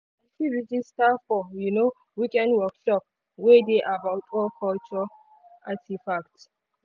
na she register for um weekend workshop wey dey about old culture artifacts. um